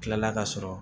Kilala ka sɔrɔ